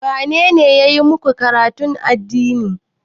Wane ne ya yi maku karatun addini?